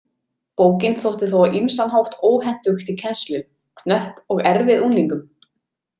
Bókin þótti þó á ýmsan hátt óhentug til kennslu, knöpp og erfið unglingum.